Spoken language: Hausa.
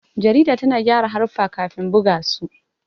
Jarida tana gyara haruffa kafin buga su.